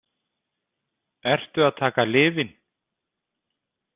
Ertu að taka lyfin?